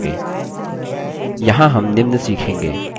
यहाँ हम निम्न सीखेंगे